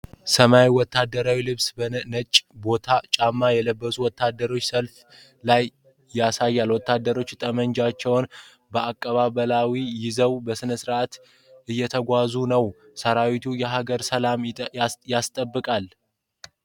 ሰማያዊ ወታደራዊ ልብስና ነጭ ቦት ጫማ የለበሱ ወታደሮች ሰልፍ ላይ ያሳያል። ወታደሮቹ ጠመንጃዎቻቸውን በአቀባዊ ይዘው በስነስርዓት እየተጓዙ ነው። ሠራዊቱ የሀገርን ሰላም ያስጠብቃል?